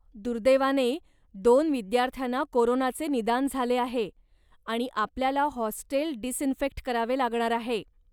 दुर्दैवाने, दोन विद्यार्थ्यांना कोरोनाचे निदान झाले आहे आणि आपल्याला हॉस्टेल डिसइन्फेक्ट करावे लागणार आहे.